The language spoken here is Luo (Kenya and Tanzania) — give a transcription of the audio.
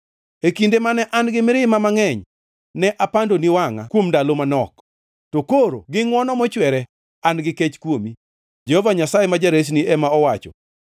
E kinde mane an gi mirima mangʼeny ne apandoni wangʼa kuom ndalo manok, to koro gi ngʼwono mochwere an-gi kech kuomi,” Jehova Nyasaye ma Jaresni ema owacho.